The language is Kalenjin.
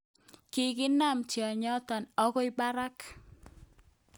Kikikanab tionyoton okoi barak